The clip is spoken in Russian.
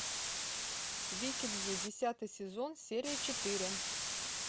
викинги десятый сезон серия четыре